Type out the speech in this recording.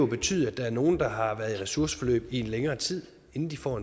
betydet at der er nogle der har været i ressourceforløb i længere tid inden de for